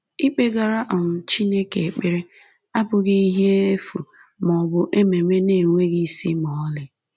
Ikpegara um Chineke ekpere abụghị ihe efu ma ọ bụ ememe na-enweghị isi ma ọlị